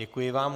Děkuji vám.